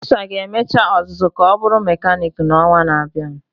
Chisa ga emecha ọzụzụ ka ọ bụrụ mekaniiki n'ọnwa na-abịa.